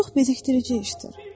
Bu çox bezikdirici işdir.